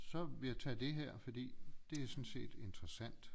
Så ville jeg tage det her fordi det er sådan set interessant